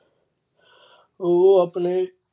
ਉਹ ਆਪਣੇ